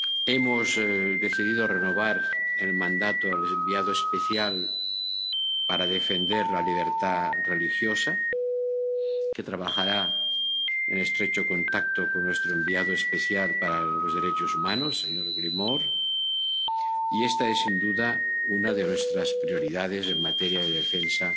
Hemos decidido renovar el mandato del enviado especial para defender la libertad religiosa, que trabajará en estrecho contacto con nuestro enviado especial para los derechos humanos, señor Gilmore, y esta es sin duda una de nuestras prioridades en materia de defensa